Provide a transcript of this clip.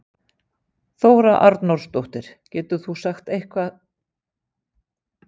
Þóra Arnórsdóttir: Getur þú eitthvað sagt um tímasetningu?